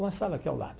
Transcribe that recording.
Uma sala aqui ao lado.